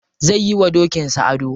Zai yi wa dokin sa ado.